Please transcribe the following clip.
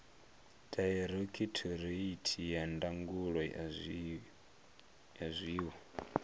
dairekhithoreithi ya ndangulo ya zwiwo